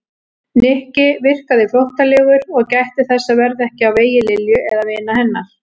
Nikki virkaði flóttalegur og gætti þess að verða ekki á vegi Lilju eða vina hennar.